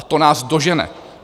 A to nás dožene.